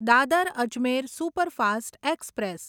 Dadar Ajmer superfast express